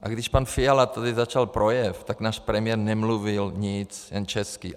A když pan Fiala tady začal projev, tak náš premiér nemluvil nic, jen česky.